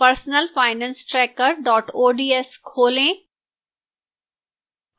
personalfinancetracker ods खोलें